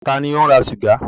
Ta ni ò ń ra sìgá?